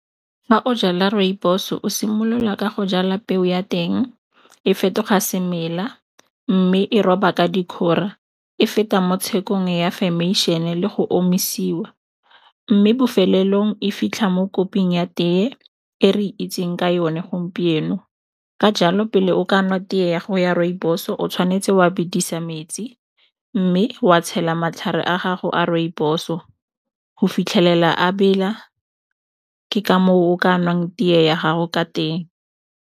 Ga o jala rooibos-o o simolola ka go jala peo ya teng e fetoga semela, mme e roba ka dikgora e feta mo tshekong ya fermation-e le go omisiwa. Mme bofelelong e fitlha mo koping ya tee e re itseng ka yone gompieno. Ka jalo, pele o ka nwa tee ya go ya rooibos-o o tshwanetse wa bidisa metsi, mme wa tshela matlhare a gago a rooibos-o go fitlhelela a bela. Ke ka moo o ka nwang tee ya gago ka teng.